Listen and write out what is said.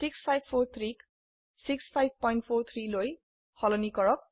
6543 ক 6543 লৈ সলনি কৰক